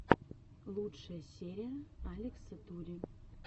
лучшая серия алекса тури